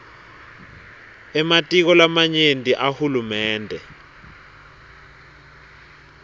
ematiko lamanyenti ahulumende